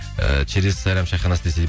ііі через сайрам чайханасы десей